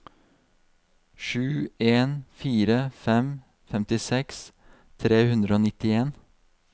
sju en fire fem femtiseks tre hundre og nittien